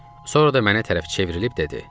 Sonra da mənə tərəf çevrilib dedi: